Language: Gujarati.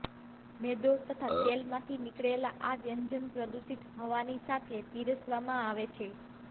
મેદો તથા તેલમાંથી નિકળેલા આ વ્યંજન પ્રદૂષિત હવાની સાથે પીરસવામાં આવે છે